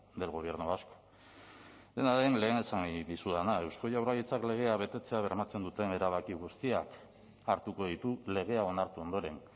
del gobierno vasco dena den lehen esan nahi dizudana eusko jaurlaritzak legea betetzea bermatzen duten erabaki guztiak hartuko ditu legea onartu ondoren